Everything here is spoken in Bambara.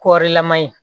Kɔɔrilama ye